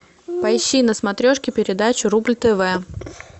поищи на смотрешке передачу рубль тв